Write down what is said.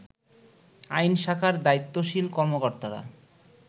আইন শাখার দায়িত্বশীল কর্মকর্তারা